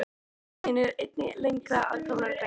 Í safni mínu eru einnig lengra að komnar greinar.